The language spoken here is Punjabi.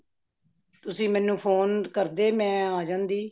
ਤੁਸੀਂ ਮੈਨੂੰ phone ਕਰਦੇ ਮੇਂ ਆ ਜਾਂਦੀ